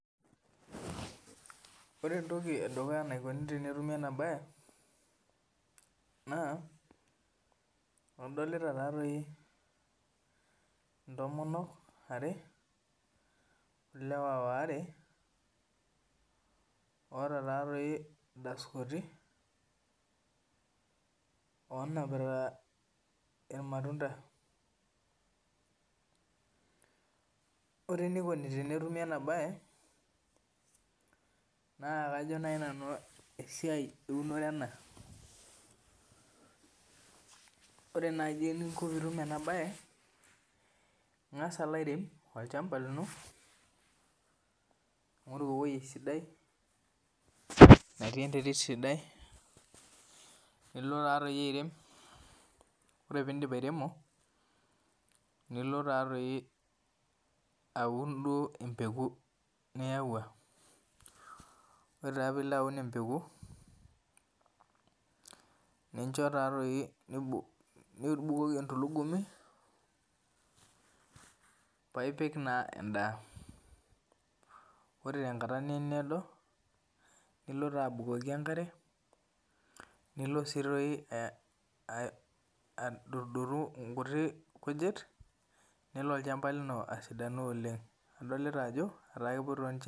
Ore entoki edukuya enaikoni tenetumi enabae, naa, adolita tatoi intomonok are olewa waare, oota tatoi idaskoti, onapita irmatunda. Ore enikoni tenetumi enabae, naa kajo nai nanu esiai eunore ena. Ore naji eninko pitum enabae, ing'asa alo airem olchamba lino, ning'oru ewoi sidai natii enterit sidai, nilo tatoi airem. Ore pidip airemo, nilo tatoi aun duo empeku niyaua. Ore taa pilo aun empeku, nincho tatoi nibukoki entulugumi, paipik naa endaa. Ore tenkata nemeedo, nilo taa abukoki enkare, nilo si toi adotdotu nkuti kujit, nelo olchamba lino asidanu oleng. Adolita ajo, etaa kepoito nche